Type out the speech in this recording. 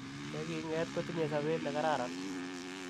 che king' et kotinyei sobet ne kararan.